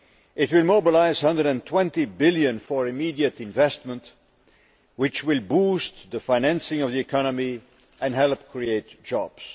It will mobilise EUR 120 billion for immediate investment, which will boost the financing of the economy and help create jobs.